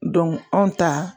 anw ta